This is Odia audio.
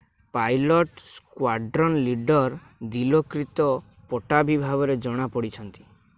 ପାଇଲଟ ସ୍କ୍ବାଡ୍ରନ୍ ଲିଡର ଦିଲୋକ୍ରିତ ପଟ୍ଟାଭି ଭାବରେ ଜଣା ପଡିଛନ୍ତି